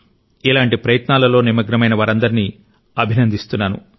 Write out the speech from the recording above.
ఇలాంటి ప్రయత్నాలలో నిమగ్నమైన వారందరినీ అభినందిస్తున్నాను